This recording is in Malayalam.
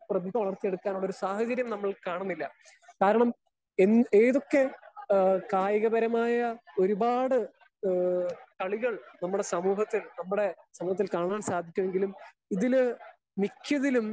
സ്പീക്കർ 1 പ്രീതിഭ വളർത്തി എടുക്കാനുള്ള ഒരു സാഹചര്യം നമ്മൾ കാണുന്നില്ല. കാരണം എന്ത് ഏതൊക്കെ ഏഹ് കായിക പരമായ ഒരുപാട് ഏഹ് കളികൾ നമ്മുടെ സമൂഹത്തിൽ നമ്മുടെ സമൂഹത്തിൽ കാണാൻ സാധിക്കുമെങ്കിലും ഇതില് മിക്കതിലും